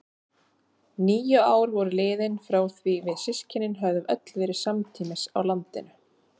Níu ár voru liðin frá því við systkinin höfðum öll verið samtímis á landinu.